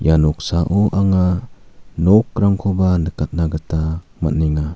ia noksao anga nokrangkoba nikatna gita man·enga.